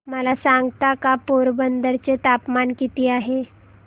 मला सांगता का पोरबंदर चे तापमान किती आहे